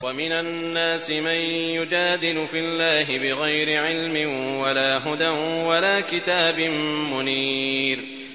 وَمِنَ النَّاسِ مَن يُجَادِلُ فِي اللَّهِ بِغَيْرِ عِلْمٍ وَلَا هُدًى وَلَا كِتَابٍ مُّنِيرٍ